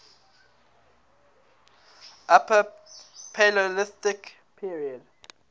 upper paleolithic period